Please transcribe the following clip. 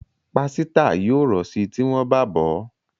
Pàsìta yóò ro sí tí wón bá bọ.